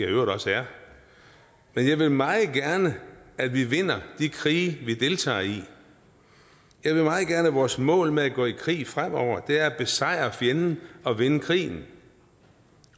i øvrigt også er men jeg vil meget gerne at vi vinder de krige vi deltager i jeg vil meget gerne at vores mål med at gå i krig fremover er at besejre fjenden og vinde krigen